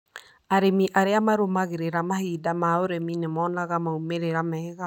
Arĩmi arĩa matinagĩrĩra mahinda ma ũrĩmi nĩ monaga maumĩrĩra mega.